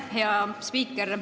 Aitäh, hea spiiker!